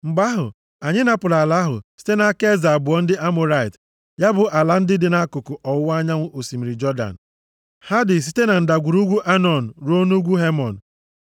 Mgbe ahụ, anyị napụrụ ala ahụ site nʼaka eze abụọ ndị Amọrait, ya bụ ala ndị dị nʼakụkụ ọwụwa anyanwụ osimiri Jọdan. Ha dị site na ndagwurugwu Anọn ruo nʼugwu Hemon.